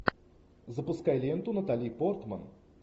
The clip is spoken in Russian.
запускай ленту натали портман